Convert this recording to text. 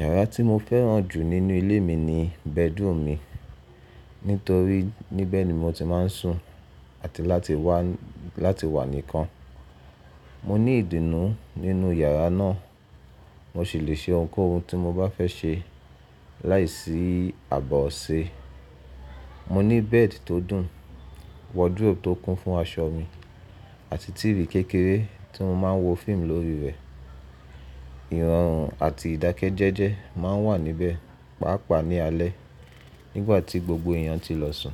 Yàrá tí mo fẹ́ràn jù nínú ilé mi ni bẹ́drúmu mi, nítorí níbẹ̀ ni mo ti máa ń sùn àti láti wà níkan. Mo ní ìdùnnú nínú yàrá náà, mo sì le ṣe ohunkóhun tí mo bá fẹ́ ṣe láìsí àbọ̀ ọ̀ṣẹ. Mo ní bẹ́ẹ̀dì tó dùn, wọdróòbù tó kún fún aṣọ mi àti tìívì kékeré tí mo máa ń wo fíìmù lórí rẹ̀. Ìrọ̀rùn àti ìdákẹ́jẹ́jẹ́ máa ń wà níbẹ̀, pàápàá ní alẹ́ nígbà tí gbogbo èèyàn ti lọ sùn.